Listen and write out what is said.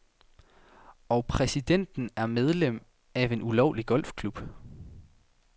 Og præsidenten er medlem af en ulovlig golfklub.